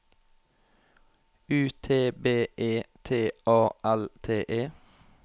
U T B E T A L T E